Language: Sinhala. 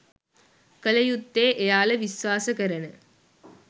කළ යුත්තේ එයාල විශ්වාස කරන